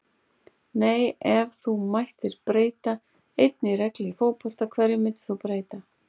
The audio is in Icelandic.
nei Ef þú mættir breyta einni reglu í fótbolta, hverju myndir þú breyta?